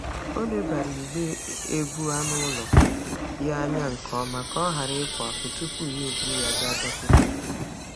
Ọ lebara igbe ebu anụ ụlọ ya anya nke ọma ka ọ ghara ịpụ apụ tupu ya eburu ya gaa dọkịta.